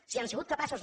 si han sigut capaços